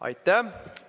Aitäh!